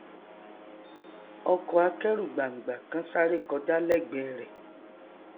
ọkọ akẹrù gbàngbà kan sáré kọjá lẹgbẹẹ rẹ